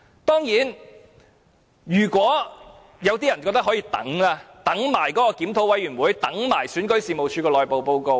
當然，有些人覺得可以等，等檢討委員會、等選舉事務處的內部報告。